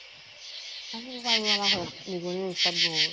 আনিব পাৰো । আমাৰ ঘৰ ত নিগনি ৰ উত্‍পাত বহুত ।